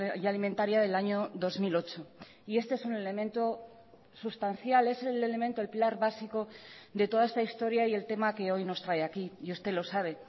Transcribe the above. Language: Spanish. y alimentaria del año dos mil ocho y este es un elemento sustancial es el elemento el pilar básico de toda esta historia y el tema que hoy nos trae aquí y usted lo sabe